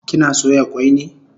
Kina soya kwai ne?